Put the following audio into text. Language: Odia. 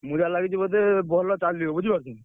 ମୁଁ ଯାହା ଲାଗିଚି ବୋଧେ ଭଲ ଚାଲିବ ବୁଝିପାରୁଛୁ?